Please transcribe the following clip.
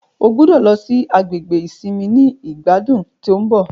O gbọdọ lọ si gbàgede isinmi ni igbadun to n bo